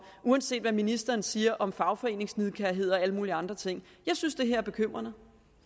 uanset hvad ministeren siger om fagforeningsnidkærhed og alle mulige andre ting jeg synes det her er bekymrende